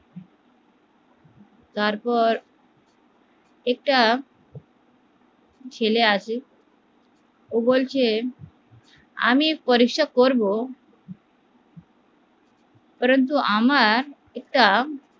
তারপর একটা ছেলে আসলো আমি পরীক্ষা করবো পরুন্তু আমার একটা